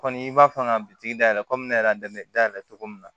Kɔni i b'a fɔ ka bitigi dayɛlɛ komi ne yɛrɛ dayɛlɛ cogo min na